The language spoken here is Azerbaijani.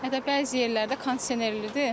Hə də bəzi yerlərdə kondisionerlidir.